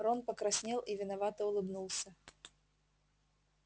рон покраснел и виновато улыбнулся